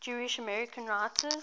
jewish american writers